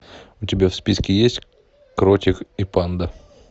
у тебя в списке есть кротик и панда